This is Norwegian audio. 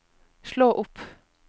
slå opp